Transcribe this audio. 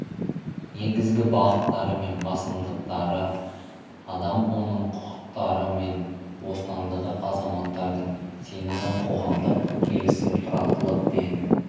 негізгі бағыттары мен басымдықтары адам оның құқықтары мен бостандығы азаматтардың сенімі қоғамдық келісім тұрақтылық пен